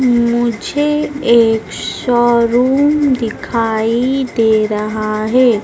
मुझे एक शोरूम दिखाई दे रहा है।